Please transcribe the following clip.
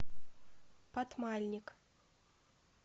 патмальник